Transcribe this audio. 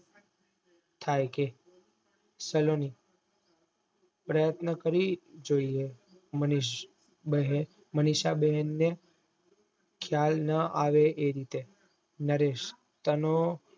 થઇ કે સલોની પ્રયત્ન કરી જોઈએ માનીશ મનીષા બેન ને ક્યાલ ના આવે એ રીતે નરેશ